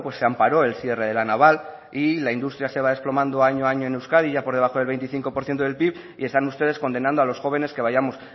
se amparó el cierre de la naval y la industria se va desplomando año a año en euskadi ya por debajo del veinticinco por ciento del pib y están ustedes condenado a los jóvenes que vayamos